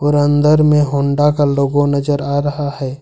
और अंदर में होंडा का लोगो नजर आ रहा है।